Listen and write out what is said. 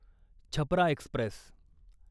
Chhapra Express